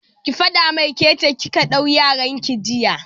Ki faɗa mai ke ce kika duke yaran ki jiya!